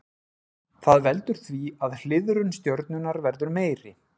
Það veldur því að hliðrun stjörnunnar verður meiri.